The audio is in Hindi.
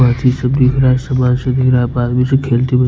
लड़की सब दिख रहा है सुबह सुबह सब खेलते हुए--